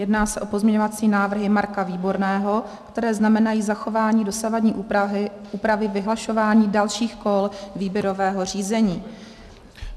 Jedná se o pozměňovací návrhy Marka Výborného, které znamenají zachování dosavadní úpravy vyhlašování dalších kol výběrového řízení.